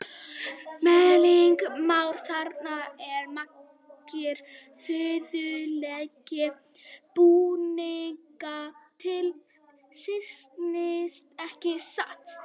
Helgi Már: Þarna eru margir furðulegir búningar til sýnis, ekki satt?